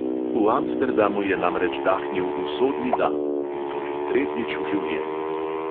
V amsterdamu je namreč dahnil usodni da in to že tretjič v življenju!